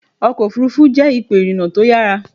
Ọkọ̀ òfuurufú jẹ́ ipò ìrìnà tó yára.